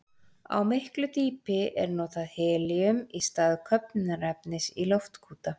Á miklu dýpi er notað helíum í stað köfnunarefnis í loftkúta.